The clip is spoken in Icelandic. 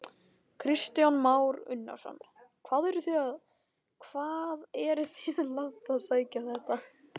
Kristján Már Unnarsson: Hvað eruð þið langt að sækja þetta?